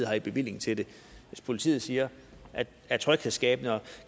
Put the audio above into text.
har en bevilling til det hvis politiet siger at de af tryghedsskabende og